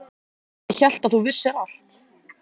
Ég hélt að þú vissir allt.